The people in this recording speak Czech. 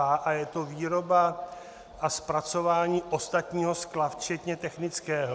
A je to výroba a zpracování ostatního skla, včetně technického.